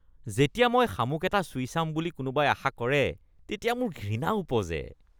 যেতিয়া মই শামুক এটা চুই চাম বুলি কোনোবাই আশা কৰে, তেতিয়া মোৰ ঘৃণা ওপজে।